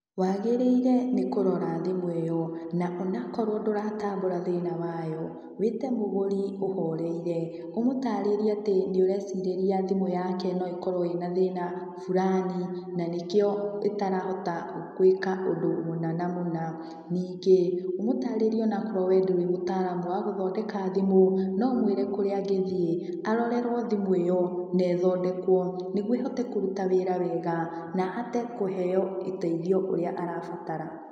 Wagĩrĩire nĩ kũrora thimũ ĩyo, na o na ũkorwo ndũratambũra thĩna wayo, wĩte mũgũri ũhoreire, ũmũtarĩrie atĩ nĩũrecirĩria thimũ yake no ĩkorwo ĩna thĩna fulani, na nĩkĩo ĩtarahota guĩka ũndũ mũna na mũna. Ningĩ, ũmũtarĩrie o na ũkorowo we ndũrĩ mũtaaramu wa gũthondeka thimũ, no ũmwĩre kũrĩa angĩthiĩ arorerwo thimũ ĩyo na ĩthondekwo, nĩguo ĩhote kũruta wĩra wega, na ahote kũheo ũteithio ũrĩa arabatara.